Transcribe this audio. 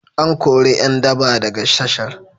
An kori ƴan daba daga tashar.